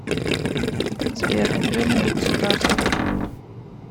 сбер люмен государство